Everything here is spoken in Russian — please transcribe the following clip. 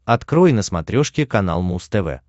открой на смотрешке канал муз тв